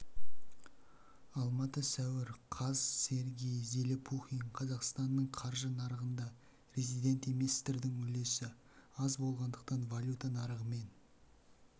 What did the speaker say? алматы сәуір қаз сергей зелепухин қазақстанның қаржы нарығында резидент еместердің үлесі аз болғандықтан валюта нарығы мен